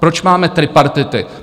Proč máme tripartity?